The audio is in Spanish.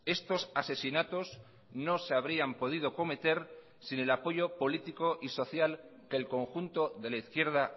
estos asesinatos no se habrían podido cometer sin el apoyo político y social que el conjunto de la izquierda